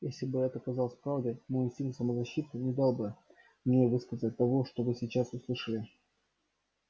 если бы это оказалось правдой мой инстинкт самозащиты не дал бы мне высказать того что вы сейчас услышали